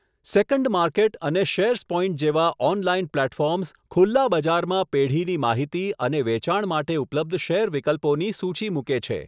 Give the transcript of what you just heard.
Second market અને shares point જેવા online platforms ખુલ્લા બજારમાં પેઢીની માહિતી અને વેચાણ માટે ઉપલબ્ધ શેર વિકલ્પોની સૂચી મૂકે છે.